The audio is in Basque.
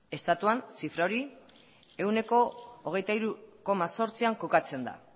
estatuan zifra hori ehuneko hogeita hiru koma zortzian kokatzen da